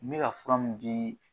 N bɛ ka fura mun dii